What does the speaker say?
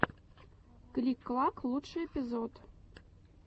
клик клак лучший эпизод